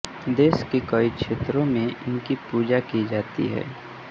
देश के कई क्षेत्रों में इनकी पूजा भी की जाती है